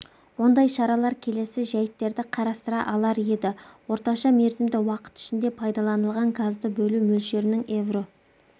ондай шаралар келесі жәйттерді қарастыра алар еді орташа мерзімді уақыт ішінде пайдаланылған газды бөлу мөлшерінің евро